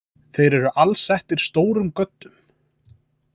Þeir eru alsettir stórum göddum.